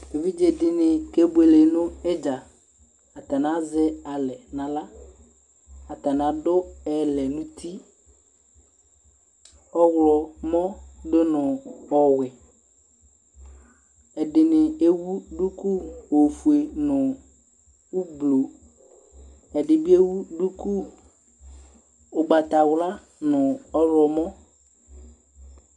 Evidzeɖini k'ebuele nu idza aatani azɛ alɛ n'aɣla, atani aɖʋ ɛlɛɛ nu utiƆɣlɔmɔ ɖʋnɔ ɔwue Ɛɖini ewu duku ofue nʋ ɔblɔ ɛɖibi ɛwu ɖʋkʋ ʋgbatawlua nʋ ɔɣlɔmɔ